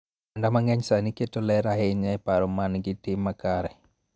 Oganda mang�eny sani keto ler ahinya e paro ma nigi tim makare .